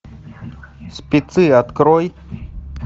спецы открой